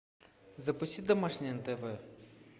запусти домашний на тв